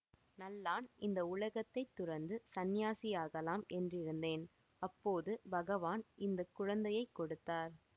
நல்லான் இந்த உலகத்தைத் துறந்து சந்நியாசியாகலாம் என்றிருந்தேன் அப்போது பகவான் இந்த குழந்தையை கொடுத்தார்